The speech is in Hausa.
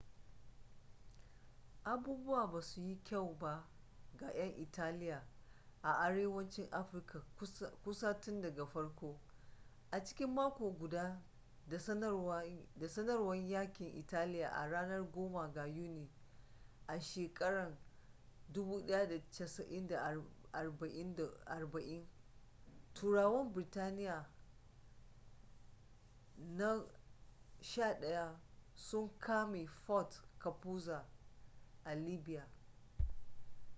abubuwa ba suyi kyau ba ga yan italia a arewacin afirka kusan tun daga farko a cikin mako guda da sanarwar yakin italiya a ranar 10 ga yuni 1940 turawan birtaniyya na 11 sun kame fort capuzzo a libya